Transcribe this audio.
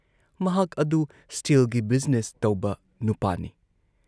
ꯃꯍꯥꯛ ꯑꯗꯨ ꯁ꯭ꯇꯤꯜꯒꯤ ꯕꯤꯖꯤꯅꯦꯁ ꯇꯧꯕ ꯅꯨꯄꯥꯅꯤ ꯫